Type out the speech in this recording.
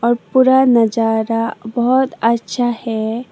और पुरा नजारा बहोत अच्छा है।